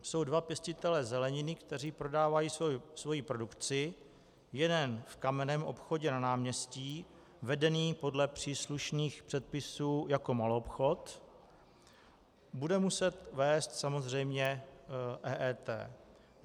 Jsou dva pěstitelé zeleniny, kteří prodávají svoji produkci, jeden v kamenném obchodě na náměstí, vedeném podle příslušných předpisů jako maloobchod, bude muset vést samozřejmě EET.